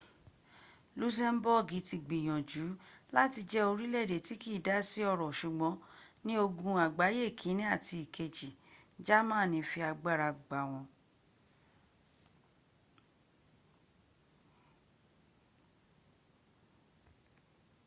lusemboogi ti gbiyanju lati je orileede ti kii da si oro sugbon ni ogun agbaye ikini ati ikeji jamani fi agbara gba won